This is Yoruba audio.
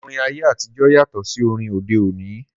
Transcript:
Orin ayé àtijọ́ yàtọ̀ sí orin orin òde òní